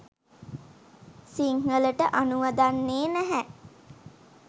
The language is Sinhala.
සිංහලට අනුවදන්නේ නැහැ.